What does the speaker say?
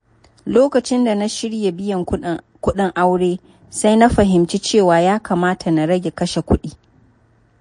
Lokacin da na shirya biyan kuɗin aure, sai na fahimci cewa ya kamata na rage kashe kuɗi.